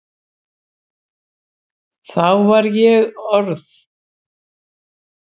Þá var ég orð